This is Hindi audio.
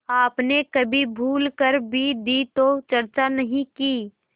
आपने कभी भूल कर भी दी तो चर्चा नहीं की